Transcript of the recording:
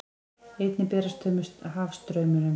Einnig berast þau með hafstraumum.